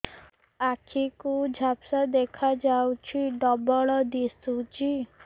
ଆଖି କୁ ଝାପ୍ସା ଦେଖାଯାଉଛି ଡବଳ ଦିଶୁଚି